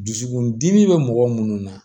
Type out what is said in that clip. Dusukundimi bɛ mɔgɔ minnu na